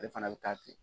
Ale fana bɛ taa ten